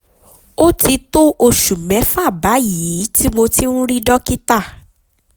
ó ti tó oṣù mẹ́fà báyìí tí mo ti ń rí dókítà